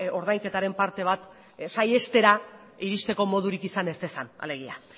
ordainketaren parte bat saihestera iristeko modurik izan ez dezan alegia